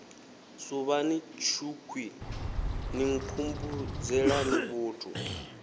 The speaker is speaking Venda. suvhani tshukhwii ni nkhumbudzelani vhuthu